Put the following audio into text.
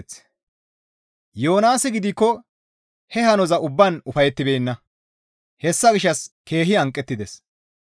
Yoonaasi gidikko he hanoza ubbaan ufayettibeenna; hessa gishshas keehi hanqettides;